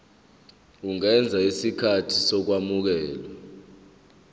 ungenza isicelo sokwamukelwa